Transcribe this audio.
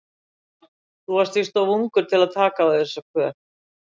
Þú varst víst of ungur til að taka á þig þessa kvöð.